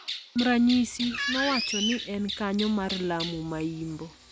Kuom ranyisi, nowacho ni, e Kanyo mar Lamu ma Imbo,